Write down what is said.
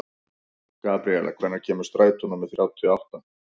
Gabríela, hvenær kemur strætó númer þrjátíu og átta?